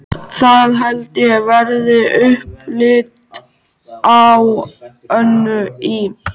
Það held ég verði upplit á Önnu í